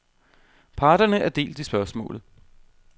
Parterne er delt i spørgsmålet.